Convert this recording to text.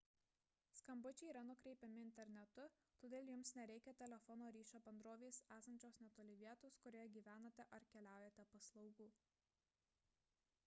skambučiai yra nukreipiami internetu todėl jums nereikia telefono ryšio bendrovės esančios netoli vietos kurioje gyvenate ar keliaujate paslaugų